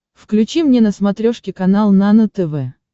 включи мне на смотрешке канал нано тв